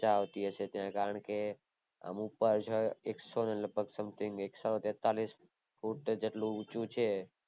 મજા આવતી હયસે કારણ કે અમુક પાછળ એકસો something એકસો તેતાલીસ ફૂટ જેટલું ઉચું છે